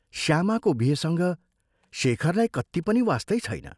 श्यामाको बिहेसँग शेखरलाई कत्ति पनि वास्तै छैन।